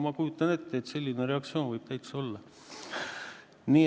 Ma kujutan ette, et selline reaktsioon võib täitsa olla.